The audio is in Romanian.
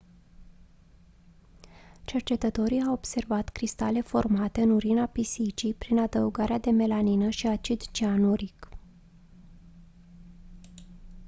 cercetătorii au observat cristale formate în urina pisicii prin adăugarea de melamină și acid cianuric